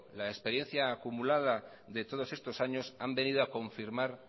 la experiencia acumulada de todos estos años han venido a confirmar